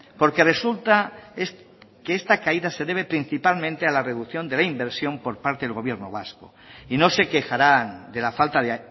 porque resulta que esta caída se debe principalmente a la reducción de la inversión por parte del gobierno vasco y no se quejarán de la falta de